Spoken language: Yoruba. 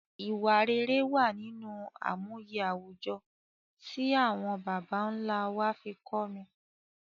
Ìwà rere wa nínú àmúye àwùjọ ti awon bàbá nlá wa fi n kọ́ ni